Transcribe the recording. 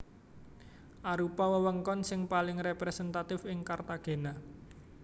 Arupa wewengkon sing paling representatif ing Cartagena